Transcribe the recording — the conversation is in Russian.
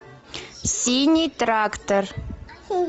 синий трактор